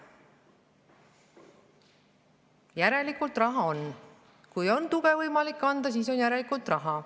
Järelikult raha on, sest kui on võimalik tuge anda, siis järelikult raha on.